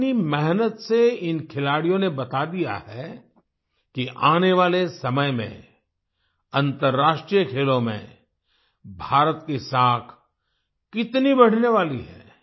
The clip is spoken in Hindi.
अपनी मेहनत से इन खिलाडियों ने बता दिया है कि आने वाले समय में अन्तर्राष्ट्रीय खेलों में भारत की साख कितनी बढ़ने वाली है